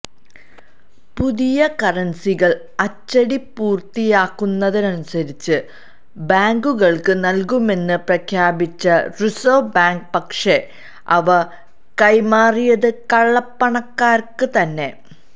പുതിയ കറന്സികള് അച്ചടി പൂര്ത്തിയാകുന്നതനുസരിച്ച് ബാങ്കുകള്ക്ക് നല്കുമെന്ന് പ്രഖ്യാപിച്ച റിസര്വ്വ് ബാങ്ക് പക്ഷെ അവ കൈമാറിയത് കള്ളപ്പണക്കാര്ക്ക് തന്നെ